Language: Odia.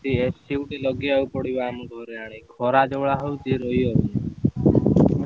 ଏଠି AC ଗୋଟେ ଲଗେଇବାକୁ ପଡିବ ଆମକୁ ଖରା ଯଉ ଭଳିଆ ହଉଛି ରହିହଉନି।